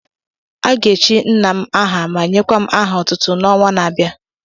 A ga-echi nna m aha ma nyekwa m aha otụtụ n'ọnwa na-abịa